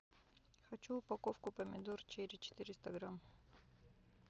хочу упаковку помидор черри четыреста грамм